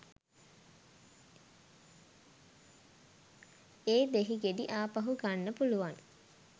ඒ දෙහි ගෙඩි ආපහු ගන්න පුළුවන්.